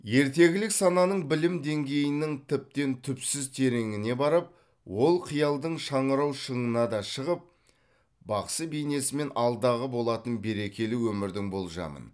ертегілік сананың білім деңгейінің тіптен түпсіз тереңіне барып ол қиялдың шаңырау шыңына да шығып бақсы бейнесімен алдағы болатын берекелі өмірдің болжамын